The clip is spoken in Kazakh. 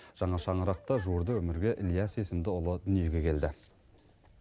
жаңа шаңырақта жуырда өмірге ілияс есімді ұлы дүниеге келді